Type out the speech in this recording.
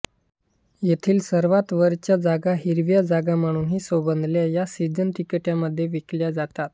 येथील सर्वात वरच्या जागा ज्यांना हिरव्या जागा म्हणूनही संबोधतात या सीझन तिकिटांमध्ये विकल्या जातात